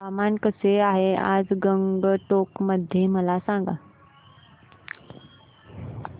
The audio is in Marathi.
हवामान कसे आहे आज गंगटोक मध्ये मला सांगा